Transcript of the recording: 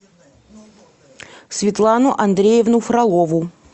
светлану андреевну фролову